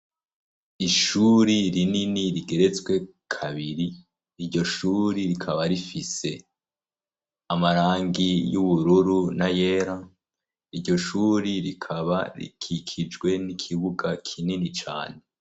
Ishuri rinini rigeretswe kabiri, iryo shuri rikaba rifise amarangi y'ubururu n'ayera, iryo shuri rikaba rikikijwe n'ikibuga kinini cane.